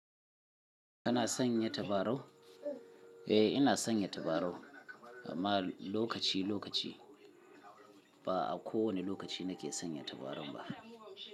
Kana sanya tabarau? Eh ina sanya tabarau, amma lokaci lokaci. Ba'a kowane lokaci nake sanya tabarau ba.